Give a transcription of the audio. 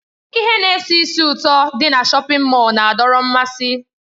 Ihe na-esi ísì ụtọ dị na shọpin Mọll na-adọrọ mmasị.